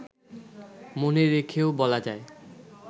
মনে রেখেও বলা যায়